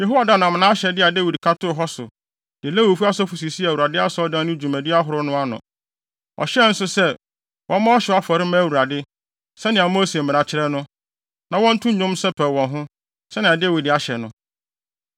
Yehoiada nam ahyɛde a Dawid ka too hɔ so, de Lewifo asɔfo sisii Awurade Asɔredan no dwumadi ahorow no ano. Ɔhyɛɛ nso sɛ, wɔmmɔ ɔhyew afɔre mma Awurade, sɛnea Mose mmara kyerɛ no, na wɔnto nnwom nsɛpɛw wɔn ho, sɛnea Dawid ahyɛ no.